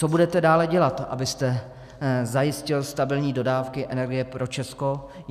Co budete dále dělat, abyste zajistil stabilní dodávky energie pro Česko?